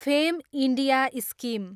fame India scheme